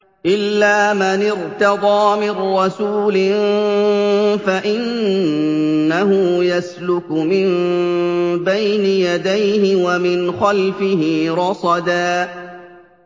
إِلَّا مَنِ ارْتَضَىٰ مِن رَّسُولٍ فَإِنَّهُ يَسْلُكُ مِن بَيْنِ يَدَيْهِ وَمِنْ خَلْفِهِ رَصَدًا